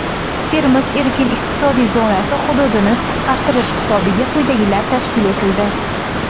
"Termiz" erkin iqtisodiy zonasi hududini qisqartirish hisobiga quyidagilar tashkil etildi:.